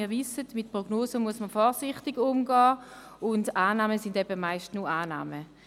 Wir wissen es, mit Prognosen muss man vorsichtig umgehen, und Annahmen sind meist nur Annahmen.